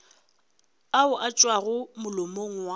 ao a tšwago molomong wa